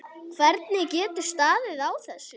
Hvernig getur staðið á þessu.